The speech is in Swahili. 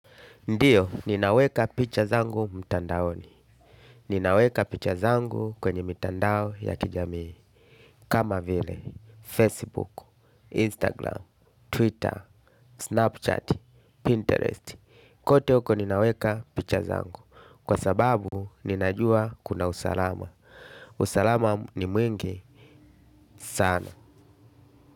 Ndiyo, ninaweka picha zangu mtandaoni. Ninaweka picha zangu kwenye mtandao ya kijamii. Kama vile, Facebook, Instagram, Twitter, Snapchat, Pinterest. Kote huko ninaweka picha zangu. Kwa sababu, ninajua kuna usalama. Usalama ni mwingi sana.